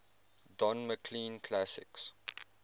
don mclean classics